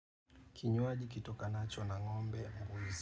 Kinywaji kitokanacho na ngombe na mbuzi.